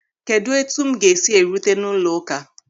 Kedụ etu m ga-esi erute n'ụlọụka...